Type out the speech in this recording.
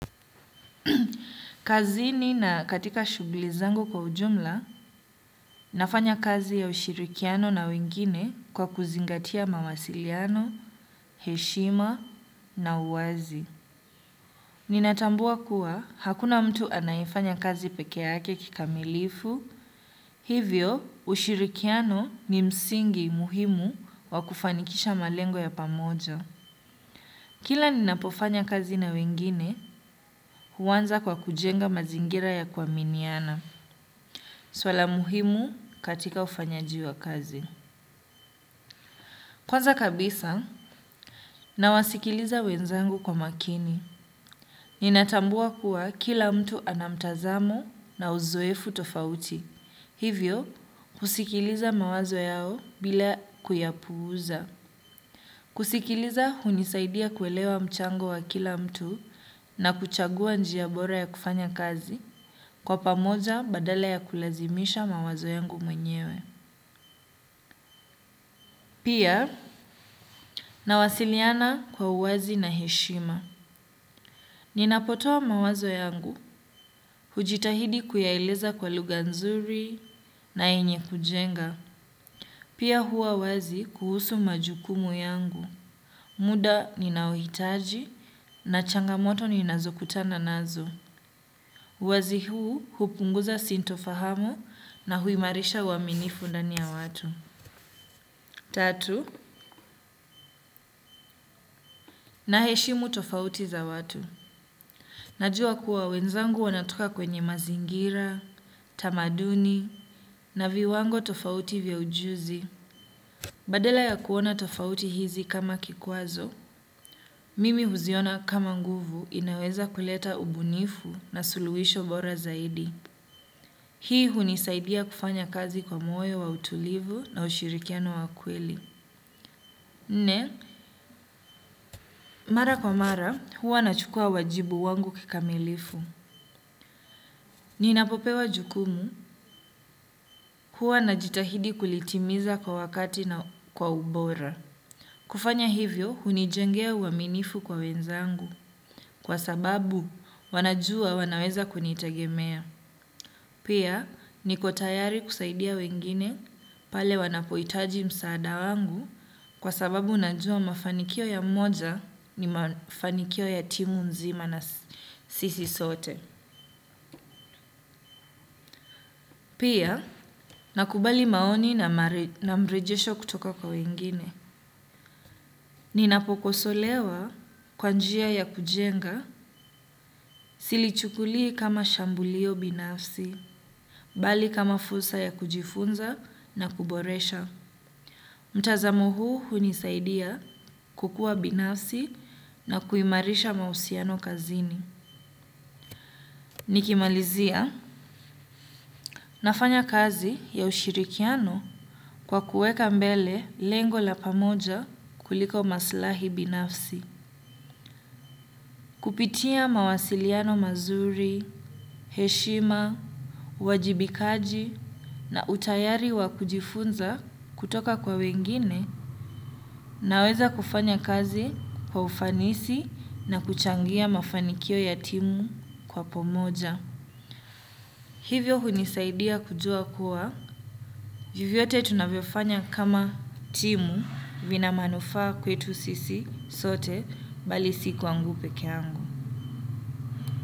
Kazini na katika shughuli zangu kwa ujumla nafanya kazi ya ushirikiano na wengine kwa kuzingatia mawasiliano, heshima na uwazi. Ninatambua kuwa hakuna mtu anayefanya kazi peke yake kikamilifu, hivyo ushirikiano ni msingi muhimu wa kufanikisha malengo ya pamoja. Kila ninapofanya kazi na wengine huanza kwa kujenga mazingira ya kuaminiana. Swala muhimu katika ufanyaji wa kazi. Kwanza kabisa, nawasikiliza wenzangu kwa makini. Ninatambua kuwa kila mtu ana mtazamo na uzoefu tofauti. Hivyo, husikiliza mawazo yao bila kuyapuuza. Kusikiliza, hunisaidia kuelewa mchango wa kila mtu na kuchagua njia bora ya kufanya kazi. Kwa pamoja, badala ya kulazimisha mawazo yangu mwenyewe. Pia, nawasiliana kwa uwazi na heshima. Ninapotoa mawazo yangu, hujitahidi kuyaeleza kwa lugha nzuri na yenye kujenga. Pia huwa wazi kuhusu majukumu yangu. Muda ninaohitaji na changamoto ninazokutana nazo. Uwazi huu hupunguza sintofahamu na huimarisha uaminifu ndani ya watu. Tatu, naheshimu tofauti za watu. Najua kuwa wenzangu wanatoka kwenye mazingira, tamaduni, na viwango tofauti vya ujuzi. Badala ya kuona tofauti hizi kama kikwazo, mimi huziona kama nguvu, inaweza kuleta ubunifu na suluhisho bora zaidi. Hii hunisaidia kufanya kazi kwa moyo wa utulivu na ushirikiano wa kweli. Nne, mara kwa mara huwa nachukua wajibu wangu kikamilifu. Ninapopewa jukumu huwa najitahidi kulitimiza kwa wakati na kwa ubora. Kufanya hivyo hunijengea uaminifu kwa wenzangu kwa sababu wanajua wanaweza kunitegemea. Pia niko tayari kusaidia wengine pale wanapohitaji msaada wangu kwa sababu najua mafanikio ya mmoja ni mafanikio ya timu nzima na sisi sote. Pia, nakubali maoni na mrejesho kutoka kwa wengine. Ninapokosolewa kwa njia ya kujenga, silichukulii kama shambulio binafsi, bali kama fursa ya kujifunza na kuboresha. Mtazamo huu hunisaidia kukua binafsi na kuimarisha mahusiano kazini. Nikimalizia nafanya kazi ya ushirikiano kwa kuweka mbele lengo la pamoja kuliko maslahi binafsi. Kupitia mawasiliano mazuri, heshima, uwajibikaji na utayari wa kujifunza kutoka kwa wengine naweza kufanya kazi kwa ufanisi na kuchangia mafanikio ya timu kwa pamoja. Hivyo hunisaidia kujua kuwa, vyovyote tunavyofanya kama timu vina manufaa kwetu sisi sote bali si kwangu peke yangu.